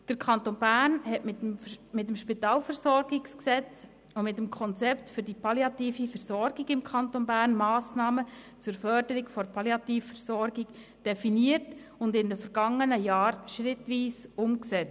Der Kanton Bern hat mit dem SpVG und mit dem Konzept für die palliative Versorgung im Kanton Bern Massnahmen zur Förderung der Palliativversorgung definiert und diese in den vergangenen Jahren schrittweise umgesetzt.